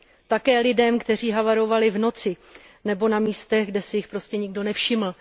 Také lidem, kteří havarovali v noci nebo na místech, kde si jich prostě nikdo nevšiml.